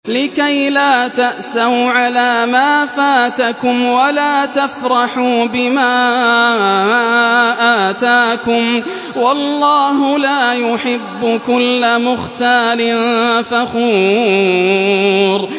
لِّكَيْلَا تَأْسَوْا عَلَىٰ مَا فَاتَكُمْ وَلَا تَفْرَحُوا بِمَا آتَاكُمْ ۗ وَاللَّهُ لَا يُحِبُّ كُلَّ مُخْتَالٍ فَخُورٍ